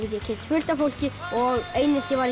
ég kynnast fullt af fólki og einelti væri